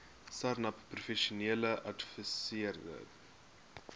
sarnap professionele adviserende